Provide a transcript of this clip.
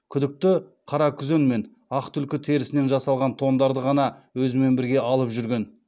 күдікті қаракүзен мен ақ түлкі терісінен жасалған тондарды ғана өзімен бірге алып жүрген